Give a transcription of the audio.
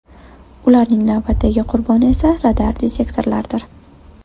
Ularning navbatdagi qurboni esa radar-detektorlardir.